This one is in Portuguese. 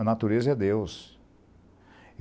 A natureza é Deus.